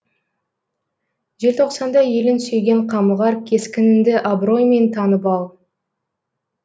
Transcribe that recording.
желтоқсанда елін сүйген қамығар кескініңді абыроймен танып ал